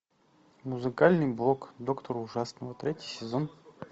музыкальный бог доктор ужасного третий сезон